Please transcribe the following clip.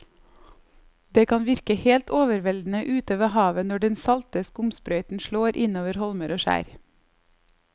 Det kan virke helt overveldende ute ved havet når den salte skumsprøyten slår innover holmer og skjær.